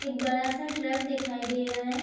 एक बड़ा सा ट्रक दिखाई दे रहा है ।